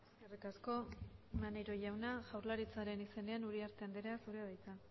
eskerrik asko maneiro jauna jaurlaritzaren izenean uriarte andrea zurea da hitza